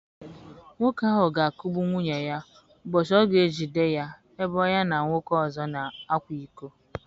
Nwoke ahụ ga-akụgbu nwunye ya ụbọchị ọ ga-ejide ya ebe ya na nwoke ọzọ na-akwa iko.